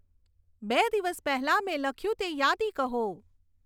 બે દિવસ પહેલાં મેં લખ્યું તે યાદી કહો